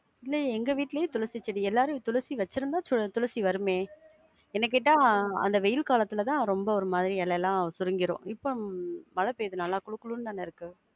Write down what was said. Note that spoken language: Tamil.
துளசி, எங்க வீட்லயே துளசி செடி, எல்லாரும் துளசி வச்சி இருந்தா, துளசி வருமே. என்ன கேட்டா, அந்த வெயில் காலத்துல தான் ரொம்ப ஒரு மாதிரி, இலையெல்லாம் சுருங்கிரும். இப்போ மழை பெய்யுது நல்லா,